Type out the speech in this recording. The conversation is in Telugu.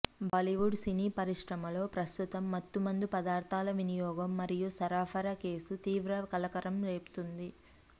బాలీవుడ్ సినీ పరిశ్రమలో ప్రస్తుతం మత్తు మందు పదార్థాల వినియోగం మరియు సరఫరా కేసు తీవ్ర కలకలం రేపుతోంది